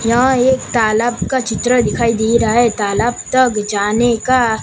यहा एक तालाब का चित्र दिखाई दे रहा है तालाब तक जाने का--